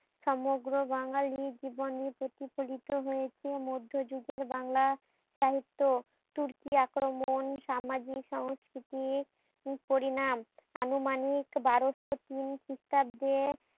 সমগ্র বাঙালির জীবনী প্রতিকূলতা হয়েছে মদ্ধ যুগের বাংলা সাহিত্য তুর্কি আক্রমণ সামাজিক সংস্কৃতি পরিনাম আনুমানিক বারোসো খ্রিস্টাব্দে